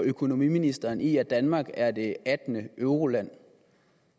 og økonomiministeren i at danmark er det attende euroland